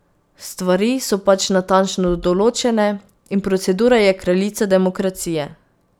Stvari so pač natančno določene in procedura je kraljica demokracije.